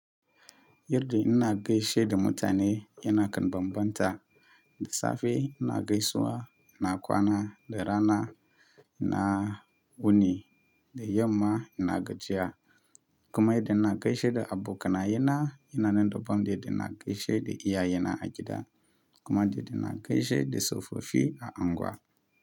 Yarda na gaishe ɗumutane yana kan bambanta da safe na gaisuwa, ina kwana da rana, ina wuni da yamma ina gajiya. Kuma yadda ina gaishe da abokana yena yana nan da bam, idan na gaishe da iyayena a gida kuma da yadda ina gaishe da tsofaffi a unguwa.